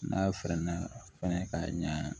N'a fɛrɛ na fɛnɛ ka ɲa